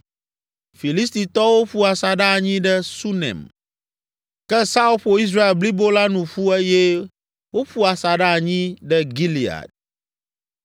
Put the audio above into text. Filistitɔwo ƒu asaɖa anyi ɖe Sunem, ke Saul ƒo Israel blibo la nu ƒu eye woƒu asaɖa anyi ɖe Gilead.